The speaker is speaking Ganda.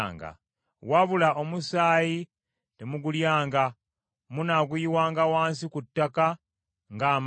Wabula omusaayi temugulyanga; munaaguyiwanga wansi ku ttaka ng’amazzi.